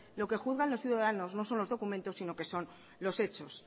lo que juzgan los ciudadanos no son los documentos sino que son los hechos